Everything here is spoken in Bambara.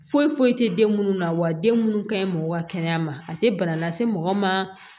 Foyi foyi tɛ den minnu na wa den minnu ka ɲi mɔgɔ ka kɛnɛya ma a tɛ bana lase mɔgɔ ma